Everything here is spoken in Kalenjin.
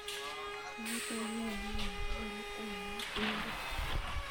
Sait ainon ole wendi karit ap maat yundon